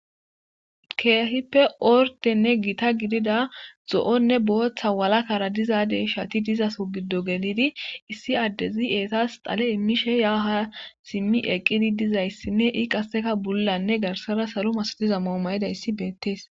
Keehippe ordenne gita gidida zo'onne booththa walakara dizadey shati dizaso giddo gelidi issi addezi eetas xale immishe ya ha simmi eqqidi dizayssinne i qasseka bullanne garsara saru mas diza moomayidayssi beettees.